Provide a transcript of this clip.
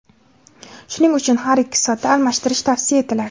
Shuning uchun har ikki soatda almashtirish tavsiya etiladi.